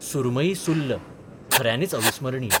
'सुरमयी सुर्ल 'खऱ्यांनीच अविस्मरणीय.